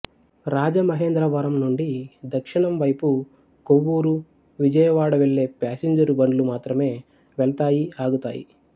రాజమహేంద్రవరం నుండి దక్షిణం వైపు కొవ్వూరు విజయవాడ వెళ్ళే ప్యాసైంజర్ బండ్లు మాత్రమే వెళ్తాయి ఆగుతాయి